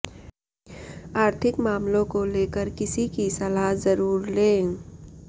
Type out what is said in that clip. आर्थिक मामलों को लेकर किसी की सलाह ज़रुर लें